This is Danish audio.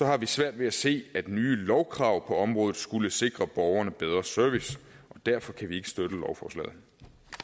har vi svært ved at se at nye lovkrav på området skulle sikre borgerne bedre service og derfor kan vi ikke støtte